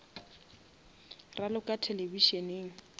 raloka televišeneng